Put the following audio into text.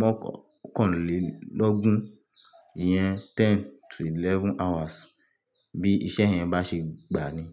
mọ́kànlélọ́gún ìyẹn ten to eleven hours bí iṣẹ́ yẹn bá ṣe gbà ni.